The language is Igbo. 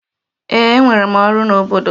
Ee, enwere m ọrụ n'obodo.